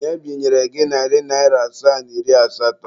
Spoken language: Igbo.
Onye binyere gị narị naịra asaa na iri asatọ?